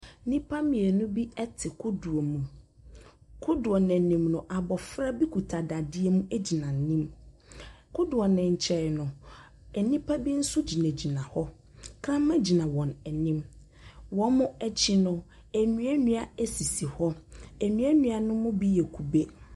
Nniipa mmienu bi te kodoɔ mu. Kodoɔ no anim no, abɔfra bi kuta dadeɛ mu gyina anim. Kodoɔ no nkyɛn no, nnipa bi nso gyinagyina hɔ. Ɔkraman gyina wɔn anim. Wɔn akyi no, nnuannua sisi hɔ. Nnuannua no mu bi yɛ kube.